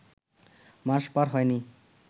মাস পার হয়নি